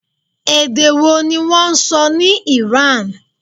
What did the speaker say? Èdè wo ni wọ́n sọ ní ìran?